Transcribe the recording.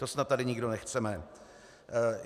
To snad tady nikdo nechceme.